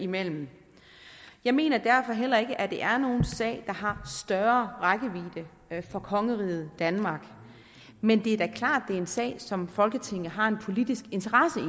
mellem jeg mener derfor heller ikke at det er nogen sag har større rækkevidde for kongeriget danmark men det er da klart det er en sag som folketinget har en politisk interesse i